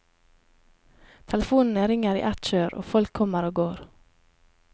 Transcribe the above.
Telefonene ringer i et kjør, og folk kommer og går.